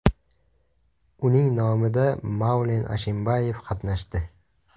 Uning nomida Maulen Ashimbayev qatnashdi.